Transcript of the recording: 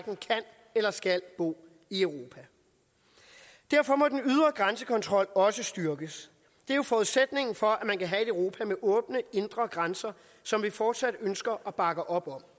kan eller skal bo i europa derfor må den ydre grænsekontrol også styrkes det er jo forudsætningen for at man kan have et europa med åbne indre grænser som vi fortsat ønsker at bakke op om